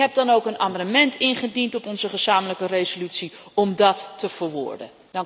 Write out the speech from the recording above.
Ik heb dan ook een amendement ingediend op onze gezamenlijke resolutie om dat te verwoorden.